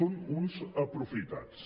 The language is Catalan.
són uns aprofitats